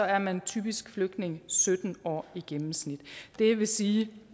er man typisk flygtning i sytten år i gennemsnit det vil sige